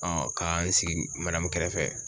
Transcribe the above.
k'an sigi kɛrɛfɛ.